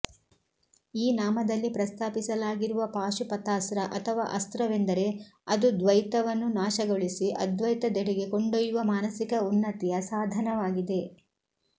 ಈ ನಾಮದಲ್ಲಿ ಪ್ರಸ್ತಾಪಿಸಲಾಗಿರುವ ಪಾಶುಪತಾಸ್ತ್ರ ಅಥವಾ ಅಸ್ತ್ರವೆಂದರೆ ಅದು ದ್ವೈತವನ್ನು ನಾಶಗೊಳಿಸಿ ಅದ್ವೈತದೆಡೆಗೆ ಕೊಂಡೊಯ್ಯುವ ಮಾನಸಿಕ ಉನ್ನತಿಯ ಸಾಧನವಾಗಿದೆ